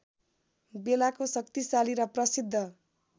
बेलाको शक्तिशाली र प्रसिद्ध